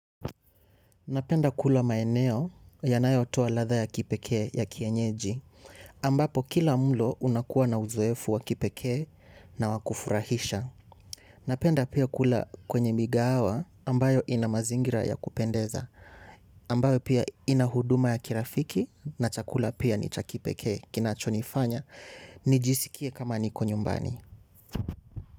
Napenda kula maeneo yanayotua ladha ya kipekee ya kienyeji ambapo kila mlo unakuwa na uzoefu wa kipekee na wa kufurahisha. Napenda pia kula kwenye migahawa ambayo ina mazingira ya kupendeza ambayo pia ina huduma ya kirafiki na chakula pia ni cha kipekee kinachonifanya nijisikie kama niko nyumbani.